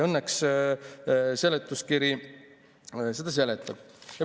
Õnneks seletuskiri seda seletab.